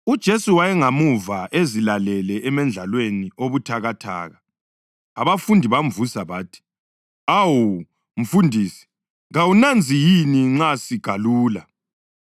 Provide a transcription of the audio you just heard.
UJesu wayengemuva ezilalele emendlalweni obuthakathaka. Abafundi bamvusa bathi, “Awu, mfundisi kawunanzi yini nxa sigalula?”